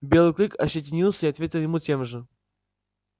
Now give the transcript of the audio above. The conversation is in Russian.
белый клык ощетинился и ответил ему тем же